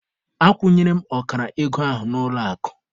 Akwụnyere m ọkara ego ahụ n'ụlọ akụ.